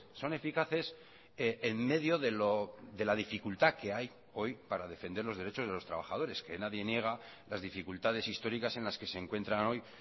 son eficaces en medio de la dificultad que hay hoy para defender los derechos de los trabajadores que nadie niega las dificultades históricas en las que se encuentran hoy